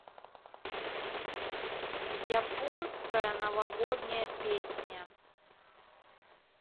японская новогодняя песня